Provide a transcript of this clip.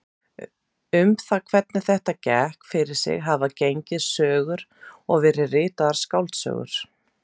Um það hvernig þetta gekk fyrir sig hafa gengið sögur og verið ritaðar skáldsögur.